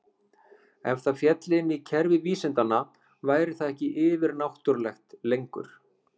Ef það félli inn í kerfi vísindanna væri það ekki yfir-náttúrulegt lengur.